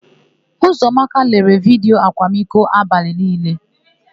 Ụzọamaka lelere vidiyo akwamiko abalị niile.